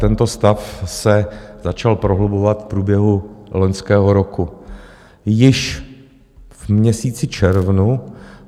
Tento stav se začal prohlubovat v průběhu loňského roku, již v měsíci červnu.